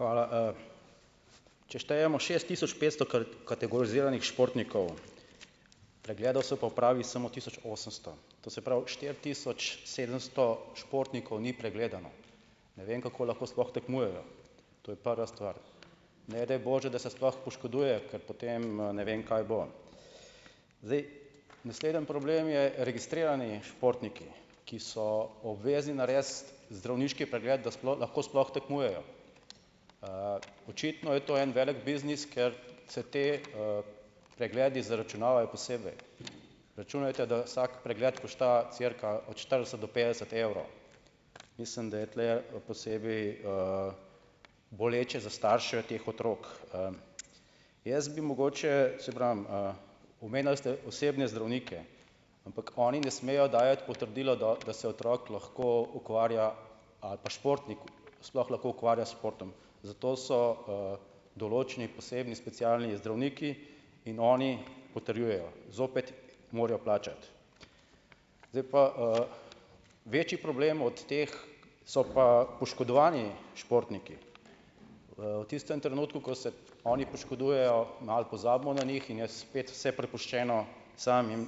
Hvala, Če štejemo šest tisoč petsto kategoriziranih športnikov, pregledov se pa opravi samo tisoč osemsto. To se pravi, štiri tisoč sedemsto športnikov ni pregledano. Ne vem, kako lahko sploh tekmujejo. To je prva stvar. Ne daj bože, da se sploh poškodujejo, ker potem, ne vem, kaj bo. Zdaj, naslednji problem so registrirani športniki, ki so obvezni narediti zdravniški pregled, da lahko sploh tekmujejo. očitno je to en velik biznis, ker se ti, pregledi zaračunavajo posebej. Računajte, da vsak pregled košta cirka od štirideset do petdeset evrov. Mislim, da tule bo posebej, boleče za starše teh otrok. jaz bi mogoče, saj pravim, omenili ste osebne zdravnike. Ampak oni ne smejo dajati potrdilo, da se otrok lahko ukvarja, ali pa športnik, sploh lahko ukvarja s športom. Zato so, določni posebni specialni zdravniki in oni potrjujejo. Zopet morajo plačati. Zdaj pa, , večji problem od teh so pa poškodovani športniki. v tistem trenutku, ko se oni poškodujejo ali pozabimo na njih in je spet vse prepuščeno samim.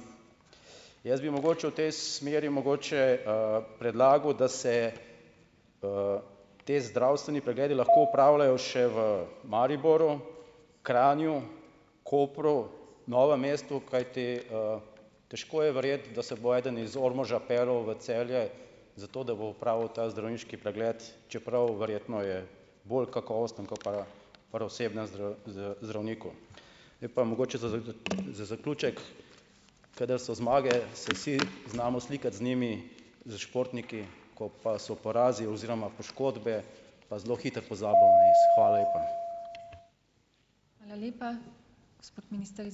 Jaz bi mogoče v tej smeri mogoče, predlagal, da se, ti zdravstveni pregledi lahko opravljajo še v Mariboru, Kranju, Kopru, Novem mestu, kajti, težko je verjeti, da se bo eden iz Ormoža peljal v Celje, zato da bo opravil ta zdravniški pregled, čeprav verjetno je bolj kakovosten ko pa pri osebnem zdravniku. Je pa mogoče za za zaključek. Kadar so zmage, se vsi znamo slikati z njimi, s športniki, ko pa so porazi oziroma poškodbe, pa zelo hitro pozabijo na . Hvala lepa . Hvala lepa. Gospod minister, ...